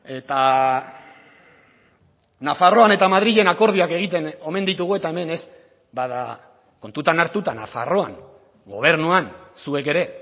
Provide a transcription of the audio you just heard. eta nafarroan eta madrilen akordioak egiten omen ditugu eta hemen ez bada kontutan hartuta nafarroan gobernuan zuek ere